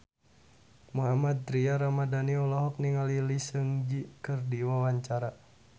Mohammad Tria Ramadhani olohok ningali Lee Seung Gi keur diwawancara